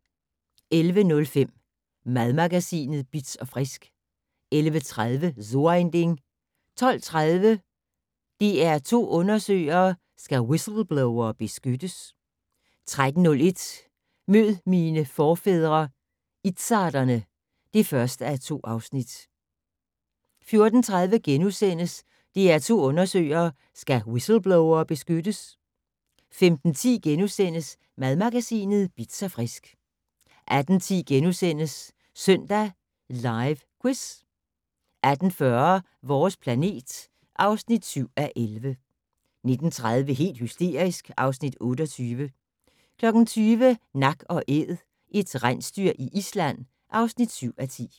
11:05: Madmagasinet Bitz & Frisk 11:30: So ein Ding 12:30: DR2 Undersøger: Skal whistleblowere beskyttes? 13:01: Mød mine forfædre - izzarderne (1:2) 14:30: DR2 Undersøger: Skal whistleblowere beskyttes? * 15:10: Madmagasinet Bitz & Frisk * 18:10: Søndag Live Quiz * 18:40: Vores planet (7:11) 19:30: Helt hysterisk (Afs. 28) 20:00: Nak & Æd - et rensdyr i Island (7:10)